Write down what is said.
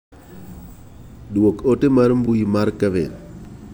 Duok ote mar mbui mar Kevin.